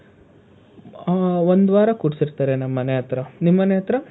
ಹಾ, ಒಂದು ವಾರ ಕೊಡಿಸಿರ್ತಾರೆ ನಮ್ ಮನೆ ಹತ್ರ. ನಿಮ್ ಮನೆ ಹತ್ರ ?